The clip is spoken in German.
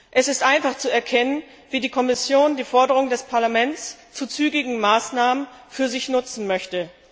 Es ist einfach zu erkennen, wie die Kommission die Forderung des Parlaments nach zügigen Maßnahmen für sich nutzen möchte.